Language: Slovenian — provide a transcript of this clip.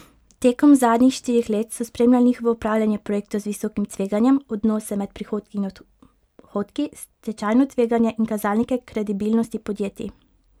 Tekom zadnjih štirih let so spremljali njihovo upravljanje projektov z visokim tveganjem, odnose med prihodki in odhodki, stečajno tveganje in kazalnike kredibilnosti podjetij.